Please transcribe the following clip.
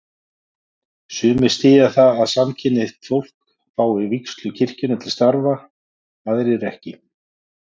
Sumir styðja það að samkynhneigt fólk fái vígslu kirkjunnar til starfa, aðrir ekki.